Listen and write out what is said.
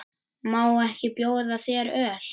Má ekki bjóða þér öl?